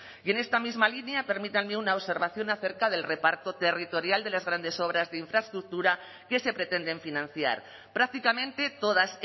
y en esta misma línea permítanme una observación acerca del reparto territorial de las grandes obras de infraestructura que se pretenden financiar prácticamente todas